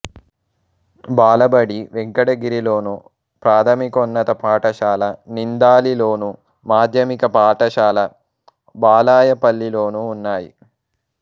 బాలబడి వెంకటగిరిలోను ప్రాథమికోన్నత పాఠశాల నిందాలిలోను మాధ్యమిక పాఠశాల బాలాయపల్లిలోనూ ఉన్నాయి